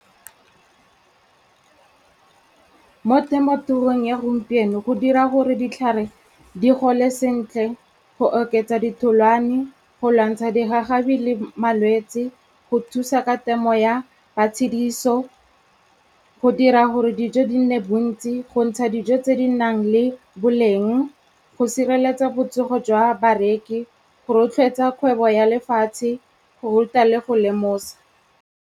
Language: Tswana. Mo temothuong ya gompieno, go dira gore ditlhare di gole sentle, go oketsa ditholwane, go lwantsha digagabi le malwetsi, go thusa ka temo ya matshediso, go dira gore dijo di nne bontsi, go ntsha dijo tse di nang le boleng, go sireletsa botsogo jwa bareki, go rotloetsa kgwebo ya lefatshe, go ruta le go lemosa.